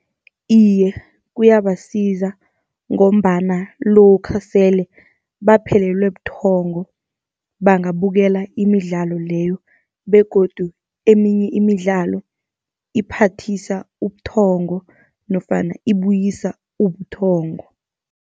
Iye, kuyabasiza ngombana lokha sele baphelelwe buthongo, bangabukela imidlalo leyo begodu eminye imidlalo iphathisa ubuthongo, nofana ibuyisa ubuthongo.